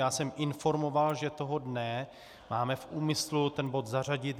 Já jsem informoval, že toho dne máme v úmyslu ten bod zařadit.